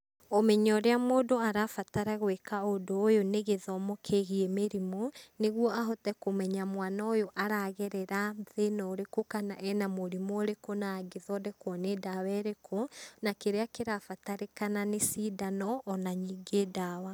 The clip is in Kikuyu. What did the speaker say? Ũmenyo ũrĩa mũndũ arabatara gwĩka ũndũ ũyũ nĩ gĩthomo kĩgiĩ mĩrimũ, nĩguo ahote kũmenya mwana ũyũ aragerera thĩna ũrĩkũ kana ena mũrimũ ũrĩkũ na angĩthondekwo nĩ dawa ĩrĩkũ, na kĩrĩa kĩrabatarĩkana nĩ cindano ona ningĩ dawa.